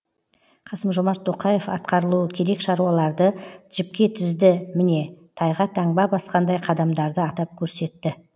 қасым жомарт тоқаев атқарылуы керек шаруаларды жіпке тізді міне тайға таңба басқандай қадамдарды атап көрсетті